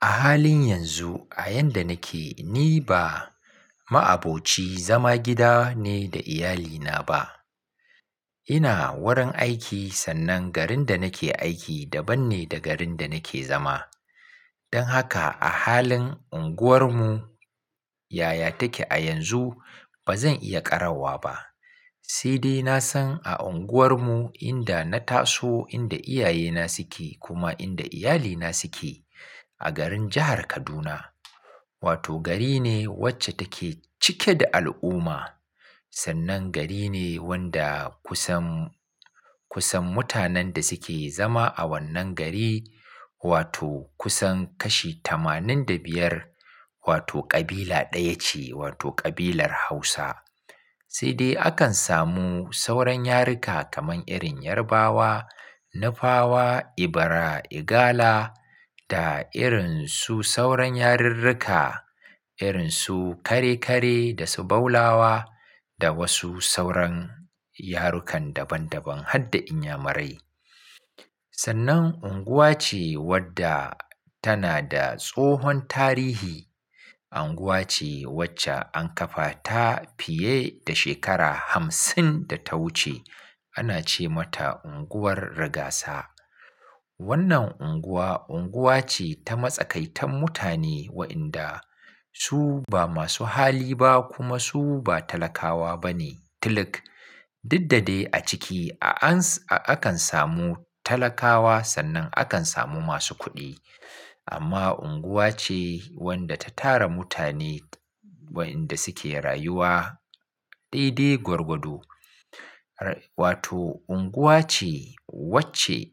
A halin yanzu a yadda nake, ni ba ma'aboci zama gida ne da iyalina ba. Ina wurin aiki sannan garin da nake aiki daban ne da garin da nake zama. Don haka a halin unguwarmu yaya take a yanzu bazan iya ƙarawa ba. Sai dai nasan a unguwarmu inda na taso, inda iyayena suke kuma inda iyalina suke a garin jahar Kaduna. Wato gari ne wacce take cike da al'umma. Sannan gari ne wanda kusan, kusan mutanen da suke zama a wannan gari wato kusan kashi tamanin da biyar wato kabila ɗaya ce wato ƙabilar Hausa. Si dai akan samu sauran yaruka kamar irin Yarbawa, Nufawa, Ebira, Igala da irinsu sauran yarurruka irinsu Kare-kare da su Baulawa da wasu sauran yarukan daban daban har da Inyamurai. Sannan unguwa ce wadda tana da tsohon tarihi. Unguwa ce wacce an kafa ta fiye da shekara hamsin da ta wuce. Ana ce mata unguwar Rigasa. Wannan unguwa, unguwa ce ta matsakaitan mutane wa'inda su ba masu hali ba kuma su ba talakawa bane. Tiluk, dukdade a ciki a-akan samu talakawa sannan akan samu masu kuɗi. Amma unguwa ce wadda ta tara mutane wa'inda suke rayuwa ɗeɗe gwargwado. Wato unguwa ce wacce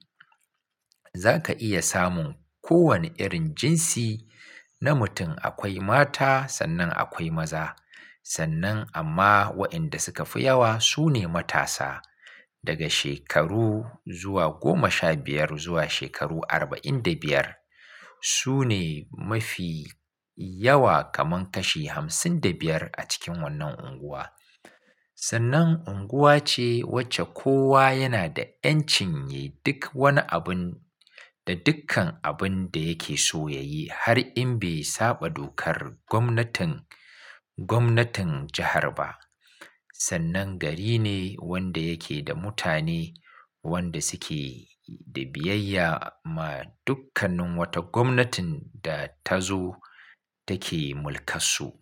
za ka iya samun kowane irin jinsi na mutum. Akwai mata sannan akwai maza. Sannan amma wa'inda suka fi yawa su ne matasa daga shekaru zuwa goma sha biyar zuwa shekaru arba'in da biyar. Su ne mafi yawa kamar kashi hamsin da biyar a cikin wannan unguwa. Sannan unguwa ce wacce kowa yana da ƴancin yi duk wani abun da dukkan abun da yake so ya yi har in bai saba dokar gwamnatin, gwamnatin jahar ba. Sannan gari ne wanda yake da mutane wanda suke da biyayya ma dukkanin wata gwamnatin da ta zo take mulkar su.